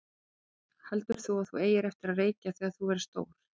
Hödd: Heldur þú að þú eigir eftir að reykja þegar þú verður stór?